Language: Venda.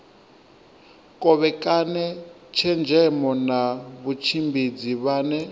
kovhekane tshenzhemo na vhatshimbidzi vhane